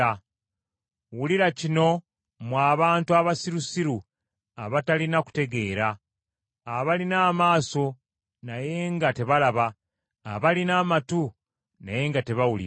Wulira kino, mmwe abantu abasirusiru abatalina kutegeera, abalina amaaso naye nga tebalaba, abalina amatu naye nga tebawulira.